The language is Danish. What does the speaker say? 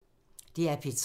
DR P3